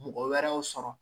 Mɔgɔ wɛrɛw sɔrɔ